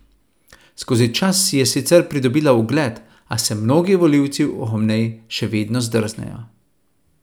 Skozi čas si je sicer pridobila ugled, a se mnogi volivci ob njej še vedno zdrznejo.